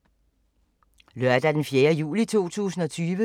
Lørdag d. 4. juli 2020